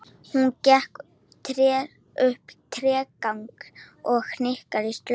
Hún gekk upp tréstigann og hikaði á skörinni.